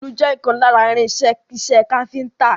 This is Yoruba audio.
Òòlù jẹ́ ìkan lára irin-iṣẹ́ iṣẹ́ káfíńńtà.